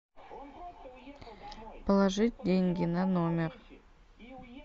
положить деньги на номер